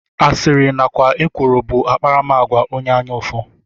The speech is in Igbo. Asịrị nakwa ekworo bụ akparamagwa onye anya ụfụ